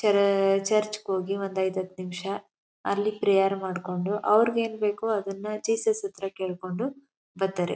ತರ ಚರ್ಚ್ ಗೆ ಹೋಗಿ ಒಂದು ಐದುಹತ್ತು ನಿಮಿಷ ಅಲ್ಲಿ ಪ್ರೇಯರ್ ಮಾಡ್ಕೊಂಡು ಅವರಿಗೆ ಏನು ಬೇಕೋ ಅದನ್ನ ಜೀಸಸ್ ಹತ್ರ ಕೇಳ್ಕೊಂಡು ಬರ್ತಾರೆ.